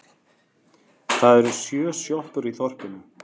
Það eru sjö sjoppur í þorpinu!